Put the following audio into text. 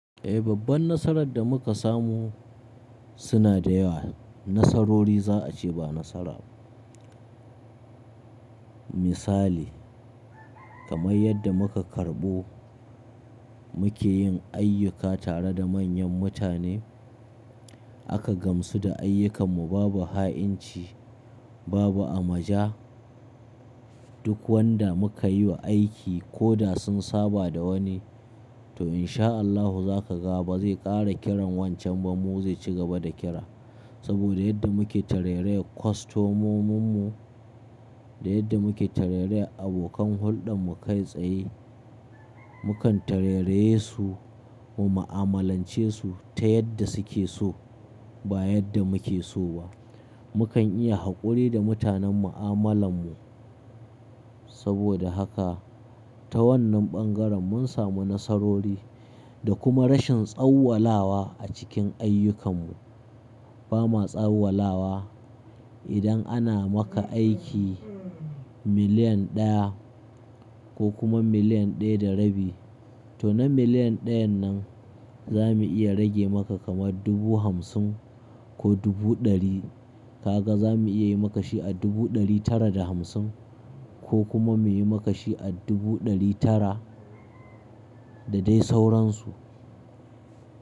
Eh, babban nasarar da muka samu suna da yawa. Nasarori za a ce ba nasara ba. Misali, kamar yadda muka karɓo muke yin ayyuka tare da manyan mutane, aka gamsu da ayyukanmu babu ha'inci, babu amaja. Duk wanda muka yi wa aiki koda sun saba da wani, to in sha Allahu zakaga ba zai ƙara kiran wancan ba mu zai cigaba da kira. Saboda yadda muke tarairayar kwastomominmu, da yadda muke tarairayar abokan hulɗan mu kai tsaye, mukan tarairaye su, mu ma'amalance su ta yadda suke so ba yadda muke so ba. Mukan iya haƙuri da mutanen mu'amalan mu. Saboda haka ta wannan ɓangaren mun samu nasarori da kuma rashin tsawwalawa a cikin ayyukanmu. Ba ma tsawwalawa idan ana maka aiki million ɗaya ko kuma million ɗaya da rabi, to na million ɗayan nan zamu iya rage maka kamar dubu hamsin ko dubu ɗari. Kaga zamu iya yi maka shi a dubu ɗari tara da hamsin ko kuma mu yi maka shi a dubu ɗari tara da dai sauransu.